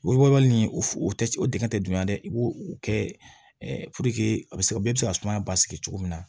nin f o te o dingɛ tɛ dunya dɛ i b'o o kɛ a be se ka bɛɛ bɛ se ka sumaya basigi cogo min na